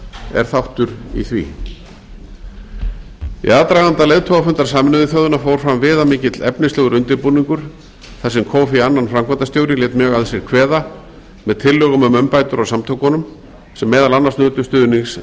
er þáttur í því í aðdraganda leiðtogafundar sameinuðu þjóðanna fór fram viðamikill efnislegur undirbúningur þar sem kofi annan framkvæmdastjóri lét mjög að sér kveða með tillögum um umbætur á samtökunum sem meðal annars nutu stuðnings